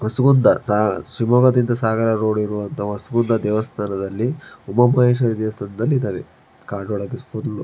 ಹೊಸಗುಂದ ಶಿವಮೊಗ್ಗದಿಂದ ಸಾಗರ ರೋಡ್ ಇರುವ ಹೊಸಗುಂದ ದೇವಸ್ಥಾನದಲ್ಲಿ ಉಮಾ ಮಹೇಶ್ವರಿ ದೇವಸ್ಥಾನ ಇದ್ದವೇ ಕಾಡೊಳಗೆ ಫುಲ್ --